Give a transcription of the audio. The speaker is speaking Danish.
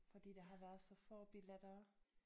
Fordi der har været så få billetter